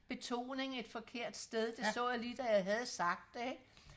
betoning et forkert sted det så jeg lige da jeg havde sagt det ikke